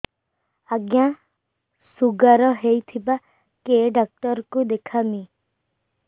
ଆଜ୍ଞା ଶୁଗାର ହେଇଥିବ କେ ଡାକ୍ତର କୁ ଦେଖାମି